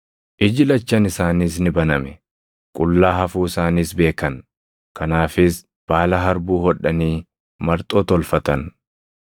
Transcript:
Iji lachan isaaniis ni baname; qullaa hafuu isaaniis beekan; kanaafis baala harbuu hodhanii marxoo tolfatan.